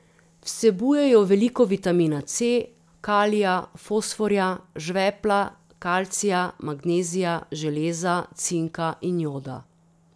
Vsebujejo veliko vitamina C, kalija, fosforja, žvepla, kalcija, magnezija, železa, cinka in joda.